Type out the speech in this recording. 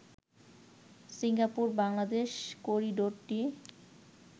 Singapore-Bangladesh করিডোরটি